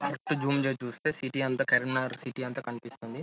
Correct గ zoom చేసి చుస్తే సిటీ అంత కరీంనగర్ సిటీ అంత కనిపిస్తుంది.